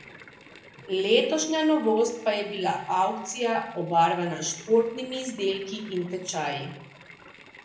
Letošnja novost pa je bila avkcija obarvana s športnimi izdelki in tečaji.